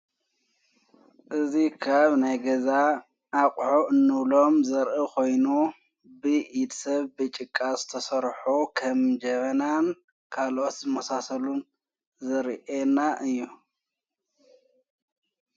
እዙ ኻብ ናይ ገዛ ኣቝዖ እኖብሎም ዘርኢ ኾይኑ ብ ኢድ ሰብ ብጭቃዘ ተሠርሑ ኸም ጀበናን ካልኦስ መሳሰሉን ዘርአና እዮም።